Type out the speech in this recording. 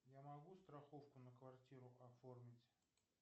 я могу страховку на квартиру оформить